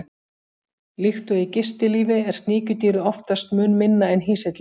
Líkt og í gistilífi er sníkjudýrið oftast mun minna en hýsillinn.